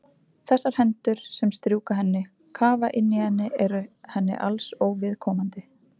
Þessar hendur sem strjúka henni, kafa inn í henni eru henni alls óviðkomandi.